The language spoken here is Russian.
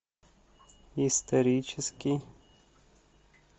исторический